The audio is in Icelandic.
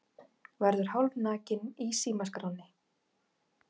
Verður hálfnakinn í símaskránni